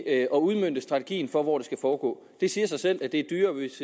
at udmønte strategien for hvor det skal foregå det siger sig selv at det er dyrere hvis